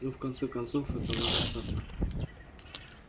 ну в конце концов эта ваша ставка